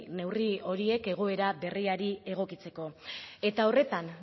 neurri horiek egoera berriari egokitzeko eta horretan